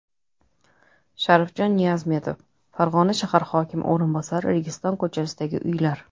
Sharifjon Niyazmetov, Farg‘ona shahar hokimi o‘rinbosari Registon ko‘chasidagi uylar.